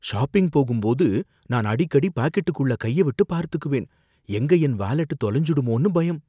Shopping போகும்போது நான் அடிக்கடி பாக்கெட்குள்ள கைய விட்டு பார்த்துக்குவேன், எங்க என் வாலெட் தொலைஞ்சிடுமோன்னு பயம்!